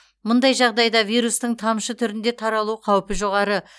мұндай жағдайда вирустың тамшы түрінде таралу қаупі жоғары